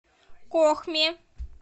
кохме